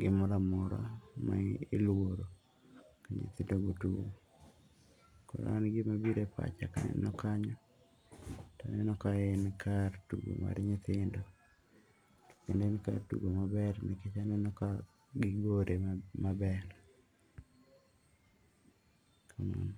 gimoro amora ma iluoro ka nyithindo owuok. Kor an en gima biro e pacha kanyo to aneno ka en kar tugo mar nyithindo kendo en kar tugo maber nikech aneno ka gigore meber. Kamano.